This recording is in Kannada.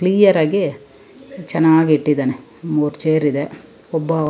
ಕ್ಲಿಯರ್ ಆಗಿ ಚನ್ನಾಗಿ ಇಟ್ಟಿದ್ದಾನೆ ಮೂರ್ ಚೇರ್ ಇದೆ ಒಬ್ಬ --